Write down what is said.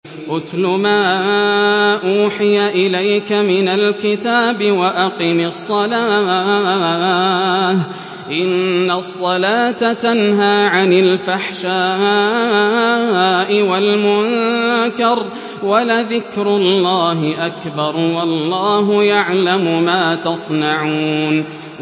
اتْلُ مَا أُوحِيَ إِلَيْكَ مِنَ الْكِتَابِ وَأَقِمِ الصَّلَاةَ ۖ إِنَّ الصَّلَاةَ تَنْهَىٰ عَنِ الْفَحْشَاءِ وَالْمُنكَرِ ۗ وَلَذِكْرُ اللَّهِ أَكْبَرُ ۗ وَاللَّهُ يَعْلَمُ مَا تَصْنَعُونَ